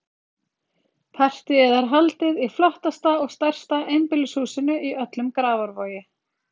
Partíið er haldið í flottasta og stærsta einbýlishúsinu í öllum Grafarvogi.